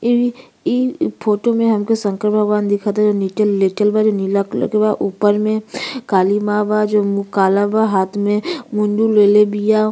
इ इ फोटो में हमके शंकर भगवान दिखात हए। नीचे लेटल बाली नीला कलर के बा। ऊपर में काली माँ बा जे मुहँ काला बा। हाथ में मुंडी लेले बिया।